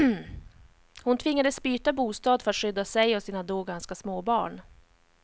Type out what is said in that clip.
Hon tvingades byta bostad för skydda sig och sina då ganska små barn.